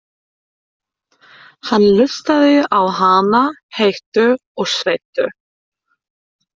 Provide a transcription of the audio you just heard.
Hann hlustaði á hana, heitur og sveittur.